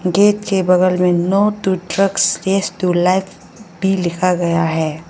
Gate के बगल में no to drugs yes to life भी लिखा गया है।